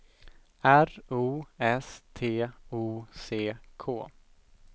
R O S T O C K